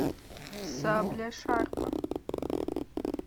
сабля шарпа